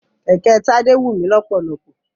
Kẹ̀kẹ́ Tádé wù mí lọ́pọ̀lọ́pọ̀.